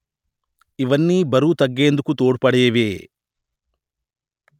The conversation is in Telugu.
ఇవన్నీ బరువు తగ్గేందుకు తోడ్పడేవే